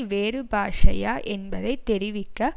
வேறு பாஷையா என்பதை தெரிவிக்க